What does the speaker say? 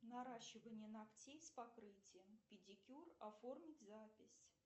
наращивание ногтей с покрытием педикюр оформить запись